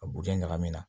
A bugujɛ ɲagami na